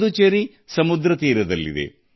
ಪುದುಚೇರಿ ಸಮುದ್ರ ತೀರದಲ್ಲಿದೆ